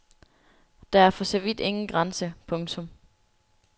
Der er for så vidt ingen grænse. punktum